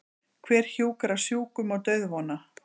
Hver hjúkrar sjúkum og dauðvona?